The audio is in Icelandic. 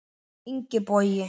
Ingi Bogi.